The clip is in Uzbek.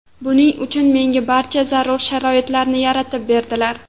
Buning uchun menga barcha zarur sharoitlarni yaratib berdilar.